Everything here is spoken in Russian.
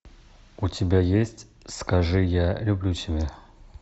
у тебя есть скажи я люблю тебя